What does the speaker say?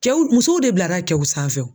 Cɛw musow de bilara cɛw sanfɛ o.